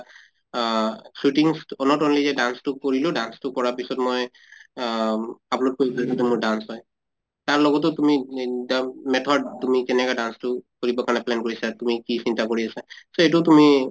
আহ shootings not only যে dance টো কৰিলোঁ, dance টো কৰা পিছত মই আহ upload মোৰ dance হয় । তাৰ লগতো তুমি method তুমি কেনেকা dance টো কৰিব কাৰণে plan কৰিছা তুমি কি চিন্তা কৰি আছা so এইটো তুমি